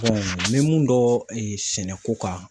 n bɛ mun dɔn sɛnɛko kan